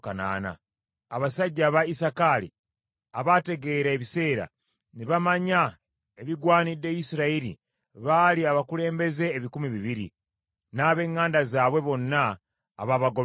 abasajja aba Isakaali abategeera ebiseera, ne bamanya ebigwanidde Isirayiri baali abakulembeze ebikumi bibiri, n’ab’eŋŋanda zaabwe bonna abaabagobereranga;